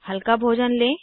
हल्का भोजन लें